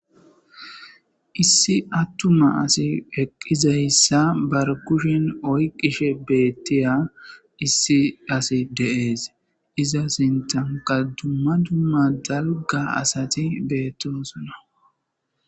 Issi attuma asi heqqizayssa bar kushen oyqishe beettiya issi asi deees iza sintanka dumma dumma dalga asati beettosona.